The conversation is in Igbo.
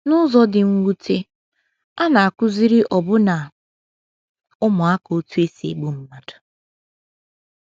N’ụzọ dị mwute, a na - akụziri ọbụna ụmụaka otú e si egbu mmadụ.